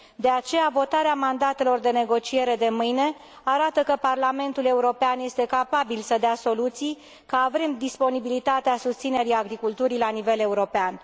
De aceea, votarea mandatelor de negociere de mâine arată că Parlamentul European este capabil să dea soluții, că avem disponibilitatea susținerii agriculturii la nivel european.